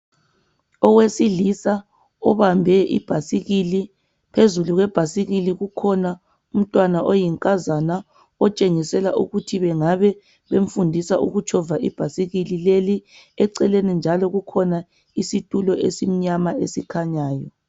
Owesilisa ubambe ibhasikili, phezulu kwebhasikili kukhona umntwana oyinkazana, otshengisela ukuthi bengabe bemfundisa ukutshova ibhasikili leli, eceleni njalo kukhona isitulo esimnyama esikhanyayo.